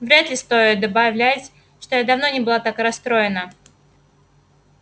вряд ли стоит добавлять что я давно не была так расстроена